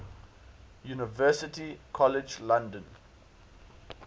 university college london